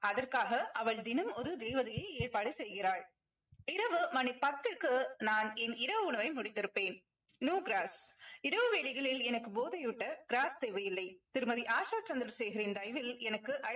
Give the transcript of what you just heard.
அதற்காக அவள் தினம் ஒரு தேவதையை ஏற்பாடு செய்கிறாள். இரவு மணி பத்திற்கு நான் என் இரவு உணவை முடித்திருப்பேன். no gross இரவு வேலைகளில் எனக்கு போதையூட்ட gross தேவையில்லை. திருமதி ஆஷா சந்திரசேகரின் தயவில் எனக்கு